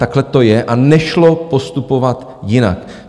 Takhle to je a nešlo postupovat jinak.